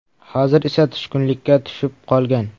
Hozir esa tushkunlikka tushib qolgan.